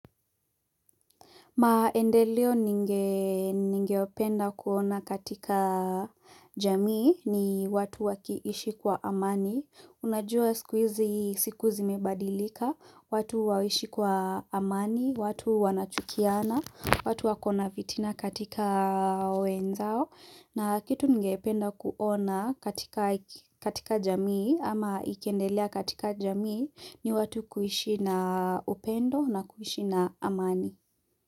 Maendeleo ningeopenda kuona katika jamii ni watu wakiishi kwa amani Unajua sikuizi siku zi mebadilika, watu hawaishi kwa amani, watu wanachukiana, watu wakona vitina katika wenzao na kitu ningependa kuona katika katika jamii ama ikiendelea katika jamii ni watu kuishi na upendo na kuishi na amani.